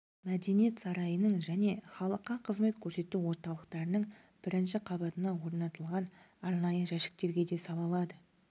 мәдениет сарайының және халыққа қызмет көрсету орталықтарының бірінші қабатына орнатылған арнайы жәшіктерге де сала алады